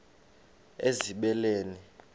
ezibeleni